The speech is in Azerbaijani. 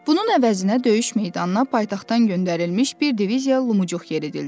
Bunun əvəzinə döyüş meydanına paytaxtdan göndərilmiş bir diviziya lumcuq yeridildi.